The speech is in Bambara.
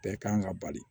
Bɛɛ kan ka bali